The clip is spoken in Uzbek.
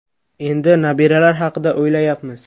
Endi nabiralar haqida o‘ylayapmiz.